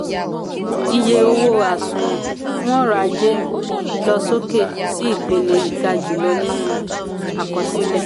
ìyè owó àsùnwòn fún orò-ajé ló sókè sí ìpele ga jùlọ nínú àkọsílẹ.